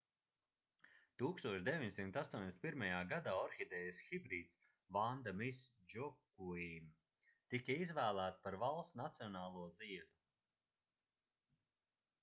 1981. gadā orhidejas hibrīds vanda miss joaquim tika izvēlēts par valsts nacionālo ziedu